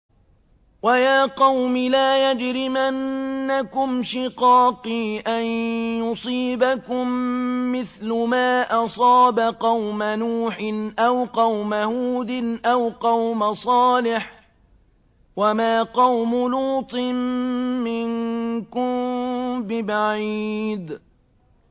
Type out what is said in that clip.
وَيَا قَوْمِ لَا يَجْرِمَنَّكُمْ شِقَاقِي أَن يُصِيبَكُم مِّثْلُ مَا أَصَابَ قَوْمَ نُوحٍ أَوْ قَوْمَ هُودٍ أَوْ قَوْمَ صَالِحٍ ۚ وَمَا قَوْمُ لُوطٍ مِّنكُم بِبَعِيدٍ